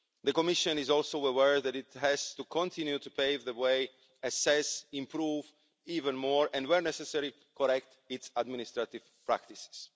The Commission is also aware that it has to continue to pave the way, assess, improve even more and, where necessary, correct its administrative practices.